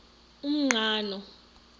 umqhano